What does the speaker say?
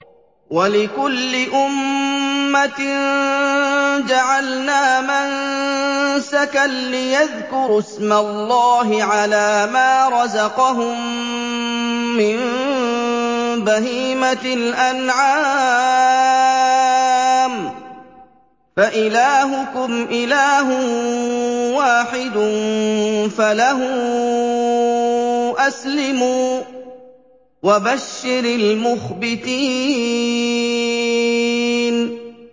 وَلِكُلِّ أُمَّةٍ جَعَلْنَا مَنسَكًا لِّيَذْكُرُوا اسْمَ اللَّهِ عَلَىٰ مَا رَزَقَهُم مِّن بَهِيمَةِ الْأَنْعَامِ ۗ فَإِلَٰهُكُمْ إِلَٰهٌ وَاحِدٌ فَلَهُ أَسْلِمُوا ۗ وَبَشِّرِ الْمُخْبِتِينَ